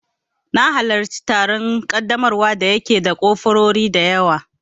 Na halarci taron ƙaddamarwa da ya ke da kofurori dayawa